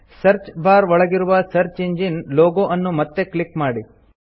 search bar ಒಳಗಿರುವ search engine logo ಅನ್ನು ಮತ್ತೆ ಕ್ಲಿಕ್ ಮಾಡಿ